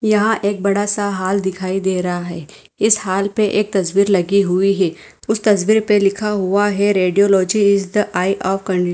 यहा का बड़ा सा हाल दिखाई दे रहा है इस हॉल पे एक तस्बीर लगी हुई है उस तस्बीर पे लिखा हुआ है radiology is the eye of can--